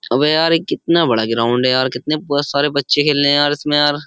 अबे यार ये कितना बड़ा ग्राउंड है यार कितने सारे बच्चे खेल रहे हैं यार इसमें यार।